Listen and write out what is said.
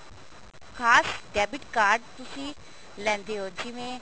ਖਾਸ debit card ਤੁਸੀਂ ਲੈਂਦੇ ਹੋ ਜਿਵੇਂ